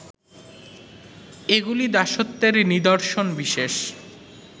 এগুলি দাসত্বের নিদর্শন বিশেষ